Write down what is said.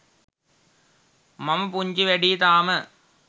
මම පුංචි වැඩියි තාම.